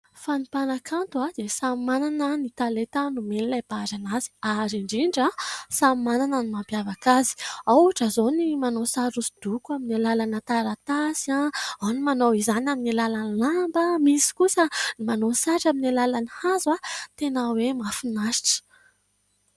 Fa ny mpanakanto dia samy manana ny talenta nomen'ilay Mpahary azy ary indrindra samy manana ny mampiavaka azy ao ohatra izao ny manao sary hosodoko amin'ny alalany taratasy ; ao ny manao izany amin'ny alalan'ny lamba, misy kosa ny manao sary amin'ny alalan'ny hazo, tena hoe mahafinaritra.